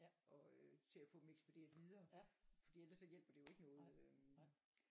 Og øh til at få dem ekspederet videre for ellers så hjælper det jo ikke noget øhm